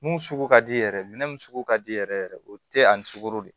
Mun sugu ka di yɛrɛ yɛrɛ minɛn mun sugu ka di yɛrɛ yɛrɛ o tɛ ani sukoro de ye